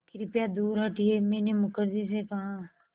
कृपया दूर हटिये मैंने मुखर्जी से कहा